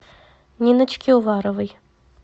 ниночки уваровой